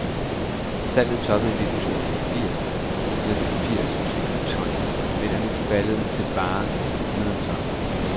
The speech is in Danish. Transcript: Salget toppede i nitten to og firs med firs tusind tons, men er nu faldet til bare et hundrede tons.